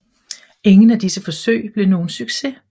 Ingen af disse forsøg blev nogen succes